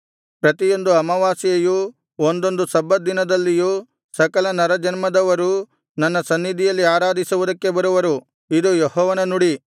ಪ್ರತಿಯೊಂದು ಅಮಾವಾಸ್ಯೆಯಲ್ಲಿಯೂ ಒಂದೊಂದು ಸಬ್ಬತ್ ದಿನದಲ್ಲಿಯೂ ಸಕಲ ನರಜನ್ಮದವರೂ ನನ್ನ ಸನ್ನಿಧಿಯಲ್ಲಿ ಆರಾಧಿಸುವುದಕ್ಕೆ ಬರುವರು ಇದು ಯೆಹೋವನ ನುಡಿ